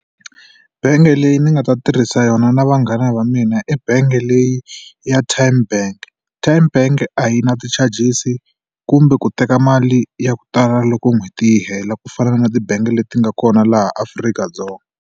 Bangi leyi ni nga ta tirhisa yona na vanghana va mina ebangi leyi ya Tyme Bank. Tyme Bank a yi na ti-charges-i kumbe ku teka mali ya ku tala loko n'hweti yi hela ku fana na tibangi leti nga kona laha Afrika-Dzonga.